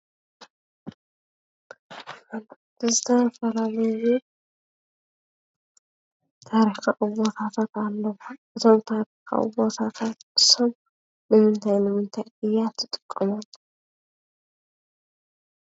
ዝተፈላለዩ ታሪካዊ ቦታታት ኣለዉ:: እዞም ታሪካዊ ቦታታት እሶም ንምንታይ ንምንታይ እያ ትጥቀመሎም?